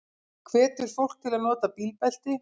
Hvetur fólk til að nota bílbelti